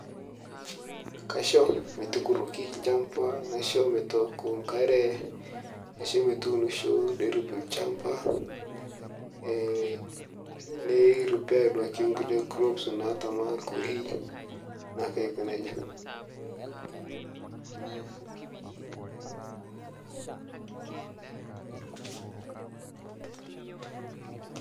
Kaisho metukuroki olchamba naisho metooko enkare, naisho metuunisho neirem olchamba. Eeeh neripair duake kure krops naatama orkurei naake aiko nejia.